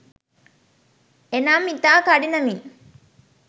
එනම් ඉතා කඩිනමින්